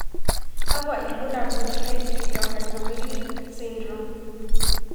kakwa ibulaul at Cleidorhizomelic syndrome.